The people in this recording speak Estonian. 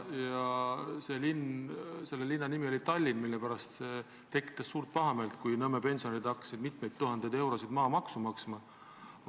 Selle linna nimi on Tallinn, kus pärast tekkis suur pahameel, kui Nõmme pensionärid hakkasid mitmeid tuhandeid eurosid maamaksu maksma.